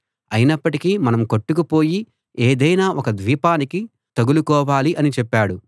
అయినప్పటికీ మనం కొట్టుకుపోయి ఏదైనా ఒక ద్వీపానికి తగులుకోవాలి అని చెప్పాడు